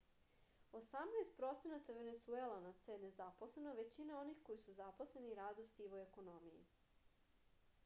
osamnaest procenata venecuelanaca je nezaposleno a većina onih koji su zaposleni rade u sivoj ekonomiji